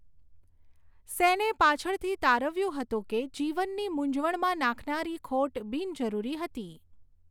સેને પાછળથી તારવ્યું હતું, કે જીવનની મૂંઝવણમાં નાખનારી ખોટ બિનજરૂરી હતી.